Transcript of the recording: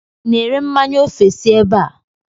I na-ere mmanya ofesi ebe a?